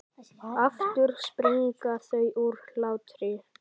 Aftur springa þau úr hlátri.